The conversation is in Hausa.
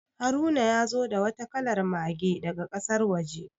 Haruna ya zo da wata kalar Mage daga kasar waje.